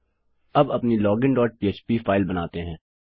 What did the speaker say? अब अपनी login dot पह्प फाइल बनाते हैं